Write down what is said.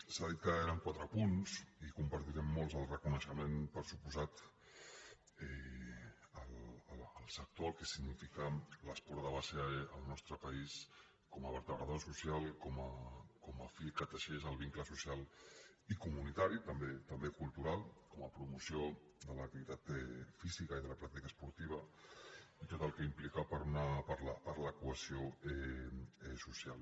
s’ha dit que eren quatre punts i compartirem molts el reconeixement per descomptat al sector al que significa l’esport de base al nostre país com a vertebrador social com a fil que teixeix el vincle social i comunitari també cultural com a promoció de l’activitat física i de la pràctica esportiva i tot el que implica per a la cohesió social